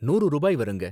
நூறு ரூபாய் வருங்க.